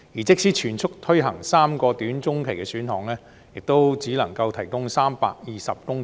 即使全速推行3個短中期的選項，亦只能提供320公頃土地。